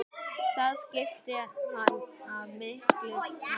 Það skipti hana miklu máli.